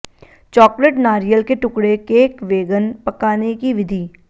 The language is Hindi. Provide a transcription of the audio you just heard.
चॉकलेट नारियल के टुकड़े केक वेगन पकाने की विधि